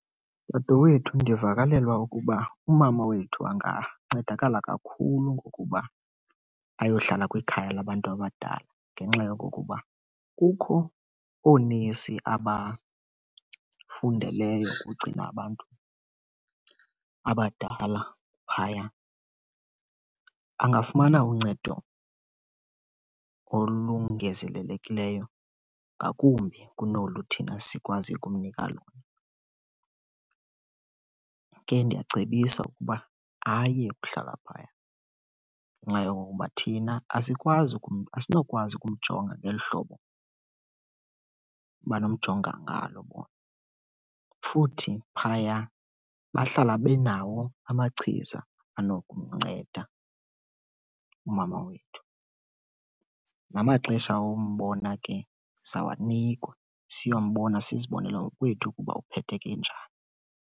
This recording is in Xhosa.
Dadewethu, ndivakalelwa ukuba umama wethu angancedakala kakhulu ngokuba ayohlala kwikhaya labantu abadala ngenxa yokokuba kukho oonesi abafundeleyo ukugcina abantu abadala phaya. Angafumana uncedo olungezelelekileyo ngakumbi kunolu thina sikwaziyo ukumnika lona. Ke ndiyacebisa ukuba ayekuhlala phaya, ngenxa yokokuba thina asikwazi asinokwazi ukumjonga ngeli hlobo banomjonga ngalo bona. Futhi phaya bahlala benawo amachiza anokumnceda umama wethu. Namaxesha ombona ke sizawanikwa, siyombona sizibonele ngokwethu ukuba uphetheke njani.